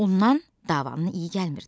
Ondan davanın iyi gəlmirdi.